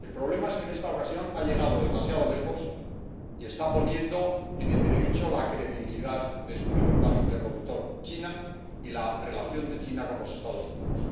El problema es que en esta ocasión ha llegado demasiado lejos y está poniendo en entredicho la credibilidad de su principal interlocutor, China, y la relación de China con los Estados Unidos.